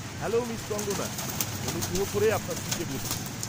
-Hello miss Kangana. অনুগ্রহ করে আপনার সিটে বসুন।